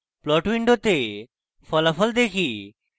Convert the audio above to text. plot window ফলাফল দেখি